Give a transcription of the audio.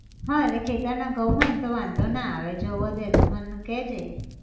હા એટલે ખેતર ના ઘઉં હોય ન તો વાંધો ના આવે, જો વધે તો મન કેહજે